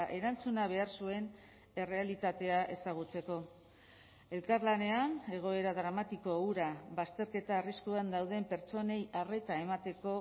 erantzuna behar zuen errealitatea ezagutzeko elkarlanean egoera dramatiko hura bazterketa arriskuan dauden pertsonei arreta emateko